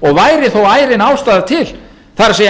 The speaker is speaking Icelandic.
og væri þó ærin ástæða til það er